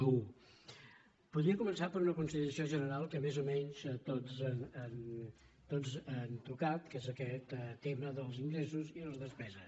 voldria començar per una consideració general que més o menys tots han tocat que és aquest tema dels ingressos i les despeses